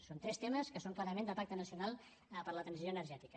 són tres temes que són clarament de pacte nacional per a la transició energètica